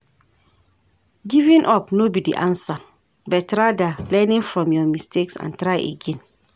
Giving up no be di answer, but rather learning from your mistakes and try again.